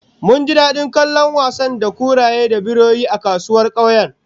Mun ji dadin kallon masu wasa da kuraye da biroyi a kasuwar kauyen